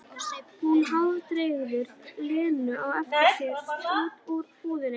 Hún hálfdregur Lenu á eftir sér út úr búðinni.